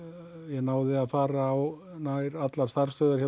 náði að fara á nær allar starfsstöðvar